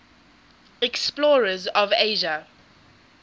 explorers of asia